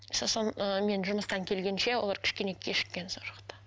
сосын ыыы мен жұмыстан келгенше олар кішкене кешіккен сол жақта